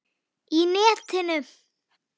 Í netinu?